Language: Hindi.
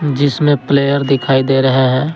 जिसमें प्लेयर दिखाई दे रहे हैं।